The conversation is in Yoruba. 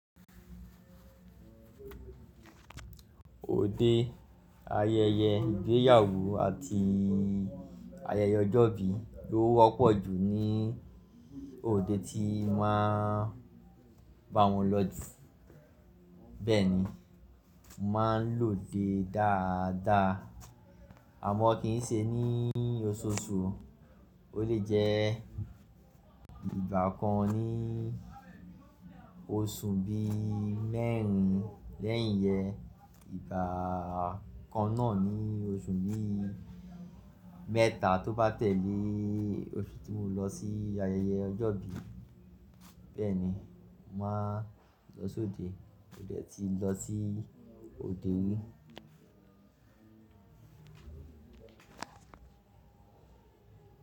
Òde ayẹyẹ ìgbéyàwó àti ayẹyẹ ọjọ́ ìbí ló wọ́pọ̀ jù ní òde tí má a bá wọn lọ jù. Bẹ́ẹ̀ ni, mo máa ń lòde dáadáa àmọ́ kì ń ṣe ní oṣooṣù, ó lè jẹ́ ìgbà kan ní oṣù bí i mẹ́rin lẹ́yìn ẹ, ìgbà kan náà ni oṣù bí i mẹ́ta tó bá tẹ̀lé oṣù tí mo lọ sí ayẹyẹ ọjọ́ ìbí. Bẹ́ẹ̀ ni, mà á lọ sóde, ó dẹ́ tí lọ sí òde wí.